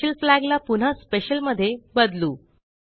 spatial flag ला पुन्हा special मध्ये बदलू